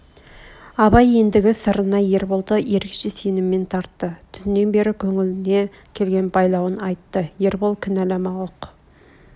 абай ендгі сырына ерболды ерекше сеніммен тартты түннен бер көңіліне келген байлауын айтты ербол кінәлама ұқ